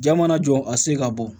Jaa mana jɔ a se ka bɔ